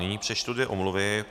Nyní přečtu dvě omluvy.